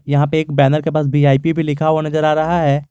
यहां पे एक बैनर के पास वी_आई_पी भी लिखा हुआ नजर आ रहा है।